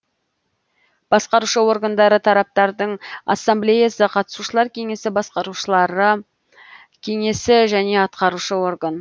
басқарушы органдары тараптардың ассамблеясы қатысушылар кеңесі басқарушылары кеңесі және атқарушы орган